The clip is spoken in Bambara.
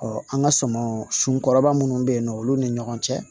an ka sumanw sunkɔrɔba munnu bɛ yen nɔ olu ni ɲɔgɔn cɛ